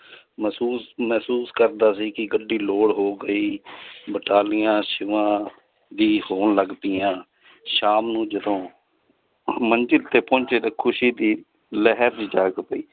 ਮਹਿਸੂਸ ਮਹਿਸੂਸ ਕਰਦਾ ਸੀ ਕਿ ਗੱਡੀ load ਹੋ ਗਈ ਵੀ ਹੋਣ ਲੱਗ ਪਈਆਂ ਸ਼ਾਮ ਨੂੰ ਜਦੋਂ ਮੰਜ਼ਿਲ ਤੇ ਪਹੁੰਚੇ ਤੇ ਖ਼ੁਸ਼ੀ ਦੀ ਲਹਿਰ ਹੀ ਜਾਗ ਪਈ